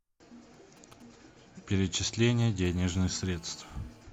перечисление денежных средств